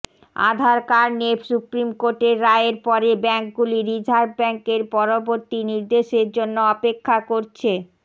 আধার card নিয়ে supreme কোর্টের রায়ের পরে ব্যাঙ্কগুলি রিজার্ভ ব্যাঙ্কের পরবর্তী নির্দেশের জন্য অপেক্ষা করছে